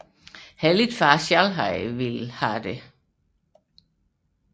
Heller ikke far selv havde ønsket det